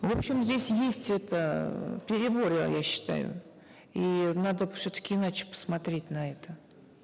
в общем здесь есть это перебор я считаю и надо все таки иначе посмотреть на это